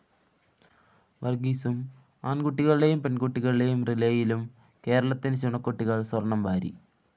വര്‍ഗ്ഗീസും ആണ്‍കുട്ടികളുടെയും പെണ്‍കുട്ടികളുടെയും റിലേയിലും കേരളത്തിന്റെ ചുണക്കുട്ടികള്‍ സ്വര്‍ണ്ണം വാരി